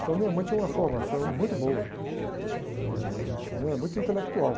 Então minha mãe tinha uma formação muito boa, eh, minha mãe era muito intelectual.